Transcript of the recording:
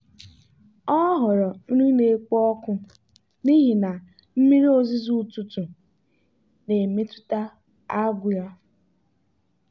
ọ họọrọ nri na-ekpo ọkụ n'ihi na mmiri ozuzo ụtụtụ na-emetụta agụụ ya.